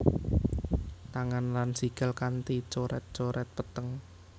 Tangan lan sikil kanti coret coret peteng